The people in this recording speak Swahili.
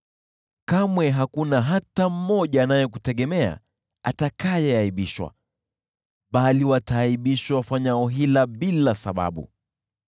Kamwe hakuna hata mmoja anayekutegemea atakayeaibishwa, bali wataaibishwa wafanyao hila bila sababu.